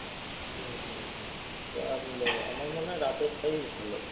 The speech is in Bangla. হম হম হম তা আমি আৃমার মনে হয় রাতেরটাই ভালো।